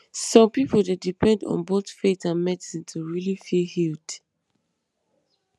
some people dey depend on both faith and medicine to really feel healed